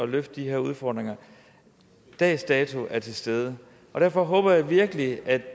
løfte de her udfordringer dags dato er til stede derfor håber jeg virkelig at